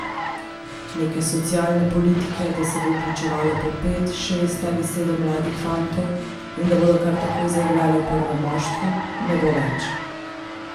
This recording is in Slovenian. Neke socialne politike, da se bo vključevalo po pet, šest ali sedem mladih fantov in da bodo kar takoj zaigrali v prvem moštvu, ne bo več.